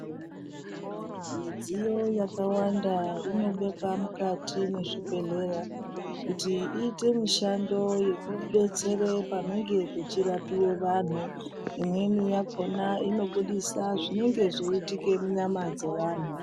Midziyo yakawanda inobekwa mukati mwezvibhedhleya kuti iite mishando yekudetsera panenge pechirapiwe vantu, imweni yakona inobudisa zvinenge zveiutike munyama dzeantu.